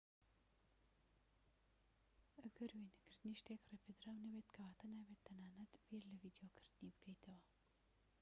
ئەگەر وێنەگرنتی شتێك ڕێپێدراو نەبێت کەواتە نابێت تەنانەت بیر لە ڤیدۆگرتنی بکەیتەوە